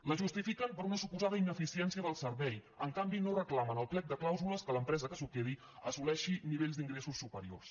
la justifiquen per una suposada ineficiència dels serveis en canvi no reclamen al plec de clàusules que l’empresa que s’ho quedi assoleixi nivells d’ingressos superiors